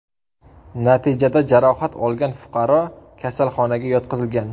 Natijada jarohat olgan fuqaro kasalxonaga yotqizilgan.